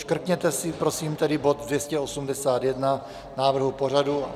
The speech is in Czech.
Škrtněte si prosím tedy bod 281 návrhu pořadu.